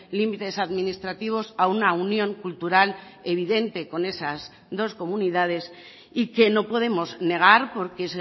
límites administrativos a una unión cultural evidente con esas dos comunidades y que no podemos negar porque